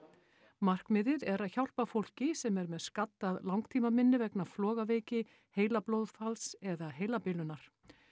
markmiðið er að hjálpa fólki sem er með skaddað langtímaminni vegna flogaveiki heilablóðfalls eða heilabilunar